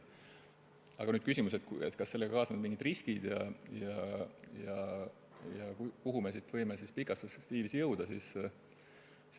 Aga nüüd küsimus selle kohta, kas sellega kaasnevad ka mingid riskid ja kuhu me võime siit pikas perspektiivis jõuda.